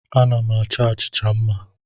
Ana m achọ achịcha mma.